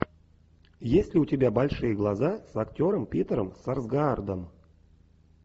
есть ли у тебя большие глаза с актером питером сарсгаардом